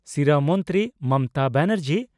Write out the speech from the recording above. ᱥᱤᱨᱟᱹ ᱢᱚᱱᱛᱨᱤ ᱢᱚᱢᱚᱛᱟ ᱵᱟᱱᱟᱨᱡᱤ